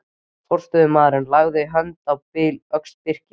Forstöðumaðurinn lagði hönd á öxl Birkis.